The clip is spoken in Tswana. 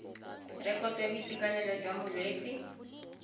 rekoto ya boitekanelo jwa molwetse